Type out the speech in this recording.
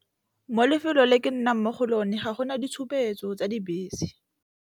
Mo lefelong le ke nnang mo go lona ga go na ditshupetso tsa Dibese.